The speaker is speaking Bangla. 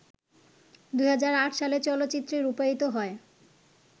২০০৮ সালে চলচ্চিত্রে রূপায়িত হয়